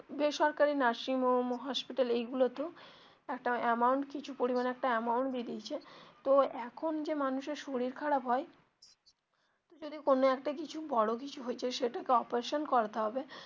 বেসরকারি nursing home hospital এই গুলো তে একটা amount কিছু পরিমানে একটা amount দিয়ে দিয়েছে তো এখন যে মানুষ এর শরীর খারাপ হয় তো যদি কোনো একটা কিছু বড়ো কিছু হয়েছে সেটা কে operation করাতে হবে.